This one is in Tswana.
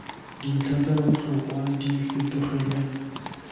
dintlha tsa botlhokwa di fetogele